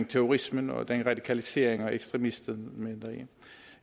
terrorismen og radikalisering og ekstremisme